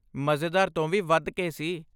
ਮਜ਼ੇਦਾਰ ਤੋਂ ਵੀ ਵੱਧ ਕੇ ਸੀ!